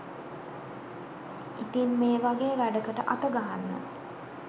ඉතින් මේ වගේ වැඩකට අතගහන්න